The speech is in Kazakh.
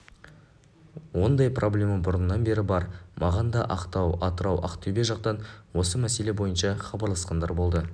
ондай проблема бұрыннан бері бар маған да ақтау атырау ақтөбе жақтан осы мәселе бойынша хабарласқандар болды